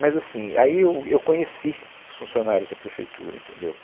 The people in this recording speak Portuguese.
Mas, assim, aí eu, eu conheci os funcionários da prefeitura, entendeu?